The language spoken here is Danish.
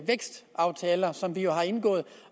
vækstaftaler som vi jo har indgået